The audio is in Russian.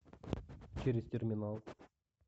через терминал